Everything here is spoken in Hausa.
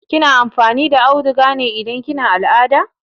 Kina amfani da auduga ne idan kina al'ada?